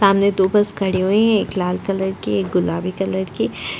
सामने दो बस खड़ी हुई है एक लाल कलर की एक गुलाबी कलर की --